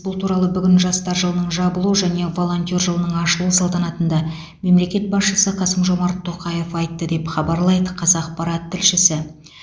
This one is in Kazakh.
бұл туралы бүгін жастар жылының жабылу және волонтер жылының ашылу салтанатында мемлекет басшысы қасым жомарт тоқаев айтты деп хабарлайды қазақпарат тілшісі